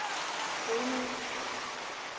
fodnote